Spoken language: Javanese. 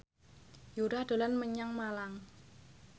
Yura dolan menyang Malang